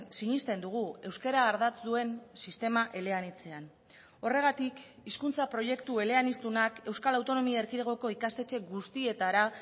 sinesten dugu euskara ardatz duen sistema eleanitzean horregatik hizkuntza proiektu eleaniztunak euskal autonomia erkidegoko ikastetxe guztietara